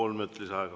Kolm minutit lisaaega.